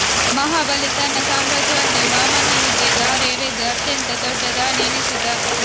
ಮಹಾಬಲಿ ತನ್ನ ಸಾಮ್ರಾಜ್ಯವನ್ನೇ ವಾಮನನಿಗೆ ಧಾರೆ ಎರೆದು ಅತ್ಯಂತ ದೊಡ್ಡ ದಾನಿ ಎನಿಸಿದ